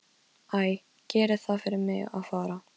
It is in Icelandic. Æ, gerið það fyrir mig að fara.